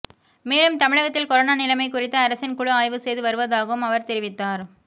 மேலும் தமிழகத்தில் கொரோனா நிலைமை குறித்து அரசின் குழு ஆய்வு செய்து வருவதாகவும் அவர் தெரிவித்தார்